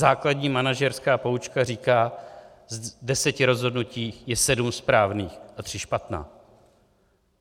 Základní manažerská poučka říká: z deseti rozhodnutí je sedm správných a tři špatná.